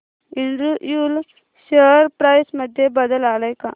Andrew Yule share price मध्ये बदल आलाय का